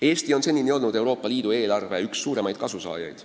Eesti on senini olnud üks suurimaid Euroopa Liidu eelarvest kasu saajaid.